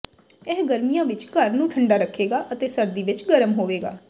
ਇਹ ਗਰਮੀਆਂ ਵਿੱਚ ਘਰ ਨੂੰ ਠੰਡਾ ਰੱਖੇਗਾ ਅਤੇ ਸਰਦੀ ਵਿੱਚ ਗਰਮ ਹੋਵੇਗਾ